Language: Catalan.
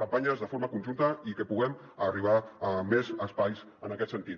campanyes de forma conjunta i que puguem arribar a més espais en aquest sentit